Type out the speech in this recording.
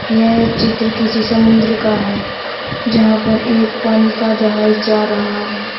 यह चित्र किसी समुद्र का है जहां पर एक पानी का एक जहाज जा रहा है।